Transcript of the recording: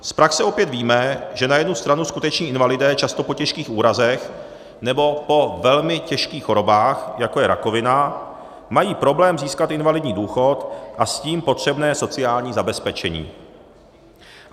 Z praxe opět víme, že na jednu stranu skuteční invalidé často po těžkých úrazech nebo po velmi těžkých chorobách, jako je rakovina, mají problém získat invalidní důchod a s tím potřebné sociální zabezpečení.